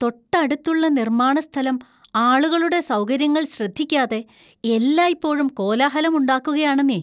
തൊട്ടടുത്തുള്ള നിർമ്മാണ സ്ഥലം ആളുകളുടെ സൗകര്യങ്ങൾ ശ്രദ്ധിക്കാതെ എല്ലായ്‌പ്പോഴും കോലാഹലം ഉണ്ടാക്കുകാണെന്നേ!